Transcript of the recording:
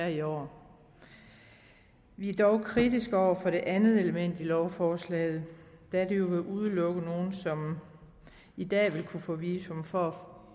i år vi er dog kritiske over for det andet element i lovforslaget da det jo vil udelukke nogle som i dag vil kunne få visum fra